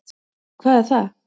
Hvað er það?